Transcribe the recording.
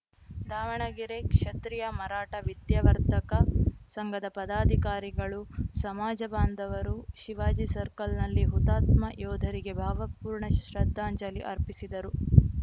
ದಾವಣಗೆರೆ ಕ್ಷತ್ರಿಯ ಮರಾಠ ವಿದ್ಯಾವರ್ಧಕ ಸಂಘದ ಪದಾಧಿಕಾರಿಗಳು ಸಮಾಜ ಬಾಂಧವರು ಶಿವಾಜಿ ಸರ್ಕಲ್‌ನಲ್ಲಿ ಹುತಾತ್ಮ ಯೋಧರಿಗೆ ಭಾವಪೂರ್ಣ ಶ್ರದ್ಧಾಂಜಲಿ ಅರ್ಪಿಸಿದರು